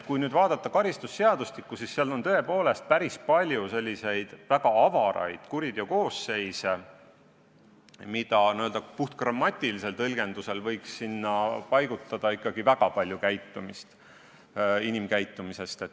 Kui vaadata karistusseadustikku, siis seal on tõepoolest päris palju väga avaraid kuritöökoosseise, kuhu alla puhtgrammatilisel tõlgendusel võiks paigutada väga suure osa inimkäitumisest.